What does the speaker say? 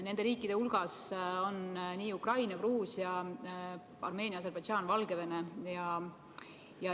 Nende riikide hulgas on Ukraina, Gruusia, Armeenia, Aserbaidžaan, Valgevene.